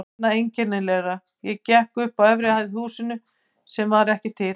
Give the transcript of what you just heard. Annað einkennilegra: ég gekk upp á efri hæð í húsi sem var ekki til.